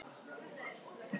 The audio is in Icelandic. Hallkell, hvað er klukkan?